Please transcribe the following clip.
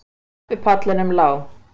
Á tröppupallinum lá